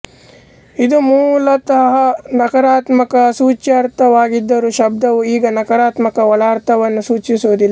ಇದು ಮೂಲತಹ ನಕಾರಾತ್ಮಕ ಸೂಚ್ಯರ್ಥವಾಗಿದ್ದರೂ ಶಬ್ದವು ಈಗ ನಕಾರಾತ್ಮಕ ಒಳರ್ಥವನ್ನು ಸೂಚಿಸುವದಿಲ್ಲ